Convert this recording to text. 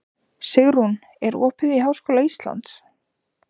Sigurunn, er opið í Háskóla Íslands?